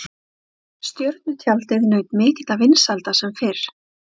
Það er hægt að gera ýmislegt til þess að draga úr eldsneytisnotkun bifreiða.